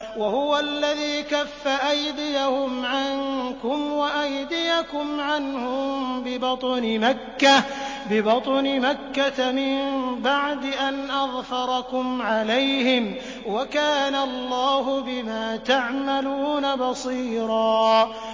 وَهُوَ الَّذِي كَفَّ أَيْدِيَهُمْ عَنكُمْ وَأَيْدِيَكُمْ عَنْهُم بِبَطْنِ مَكَّةَ مِن بَعْدِ أَنْ أَظْفَرَكُمْ عَلَيْهِمْ ۚ وَكَانَ اللَّهُ بِمَا تَعْمَلُونَ بَصِيرًا